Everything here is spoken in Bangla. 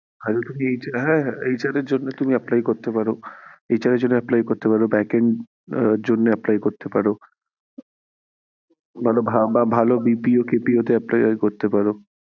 তাহলে তুমি হ্যাঁ HR এর জন্য apply করতে পারো back end এর জন্য apply করতে পারো বা ভালো BPO তে appear করতে পারো।